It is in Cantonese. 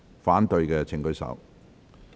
反對的請舉手。